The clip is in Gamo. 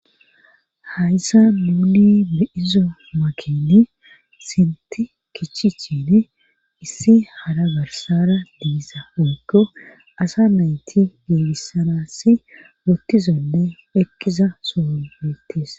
hayssa nuni be'izo makeni sinti kichichin issi hara garsara diiza woykko asa nayti beebissanassi wottizonne ekkiza sohobeettes